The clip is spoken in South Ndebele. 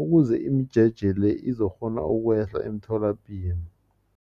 ukuze imijeje le izokukghona ukwehla emtholapilo.